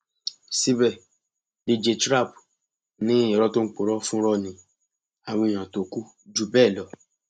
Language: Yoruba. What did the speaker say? síbẹ dj trap ni irọ tó ń purọ fúnrọ ni àwọn èèyàn tó kù jù bẹẹ lọ